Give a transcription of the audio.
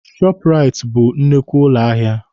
Shọọpụraiti bụ nnukwu ụlọ ahịa.